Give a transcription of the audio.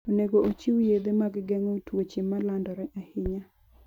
Onego ochiw yedhe mag geng'o tuoche ma landore ahinya.